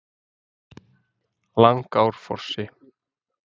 Langárfossi